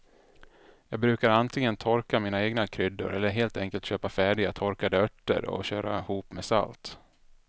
Jag brukar antingen torka mina egna kryddor eller helt enkelt köpa färdiga torkade örter och köra ihop med salt.